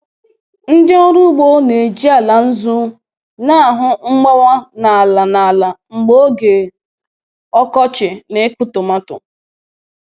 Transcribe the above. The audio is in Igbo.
Ndị ọrụ ugbo na-eji ala nzu na-ahụ mgbawa n’ala n’ala mgbe oge ọkọchị na ịkụ tọmatọ.